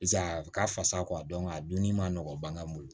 Piseke a ka fasa kɔ a dɔn a donni ma nɔgɔ ba ka bolo